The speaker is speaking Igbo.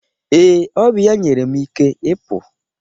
Ee, ọ bụ ya nyere m ike ịpụ.